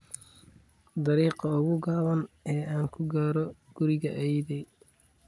dariiqa ugu gaaban ee aan ku gaadho guriga ayeeyday